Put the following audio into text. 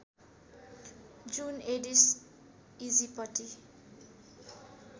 जुन Aedes aegypti